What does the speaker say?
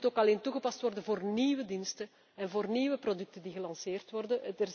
Het moet ook alleen toegepast worden voor nieuwe diensten en voor nieuwe producten die gelanceerd worden.